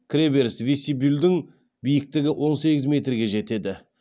кіреберіс вестибюльдің биіктігі он сегіз метрге жетеді